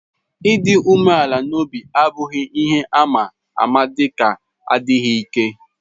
Ịdị umeala n'obi abụghị ihe àmà maka adịghị ike.